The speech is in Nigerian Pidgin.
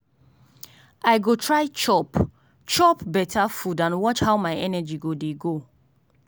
i go try chop chop beta food and watch how my energy go dey go.